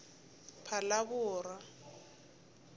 phalaborwa